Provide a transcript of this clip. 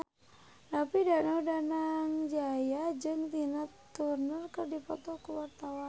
David Danu Danangjaya jeung Tina Turner keur dipoto ku wartawan